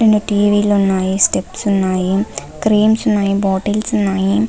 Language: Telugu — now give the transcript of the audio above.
రెండు టివి లు ఉన్నాయి స్టెప్స్ ఉన్నాయి క్రీమ్స్ ఉన్నాయి బాటిల్స్ ఉన్నాయి.